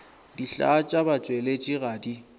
dihlaa tša batšweletši ga di